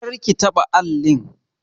Kar ki taɓa allin!